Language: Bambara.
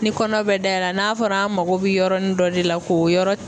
Ni kɔnɔ bɛ dayɛlɛ n'a fɔra an mako bɛ yɔrɔnin dɔ de la k'o yɔrɔ